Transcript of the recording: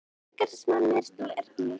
Drekar eru smáar og meðalstórar eðlur.